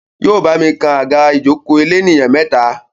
Yóò bámi kan àga ìjòkó elénìyàn meta.